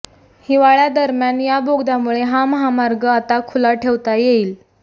हिवाळ्यादरम्यान या बोगद्यामुळे हा महामार्ग आता खुला ठेवता येईल